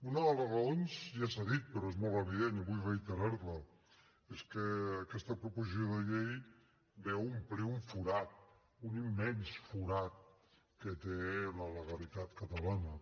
una de les raons ja s’ha dit però és molt evident i vull reiterar la és que aquesta proposició de llei ve a omplir un forat un immens forat que té la legalitat catalana